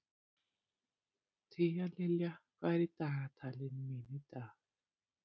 Tíalilja, hvað er í dagatalinu mínu í dag?